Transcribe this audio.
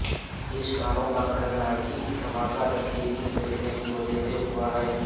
تفتیش کاروں کا کہنا ہے کہ دھماکہ دستی بم پھینکنے کی وجہ سے ہوا ہے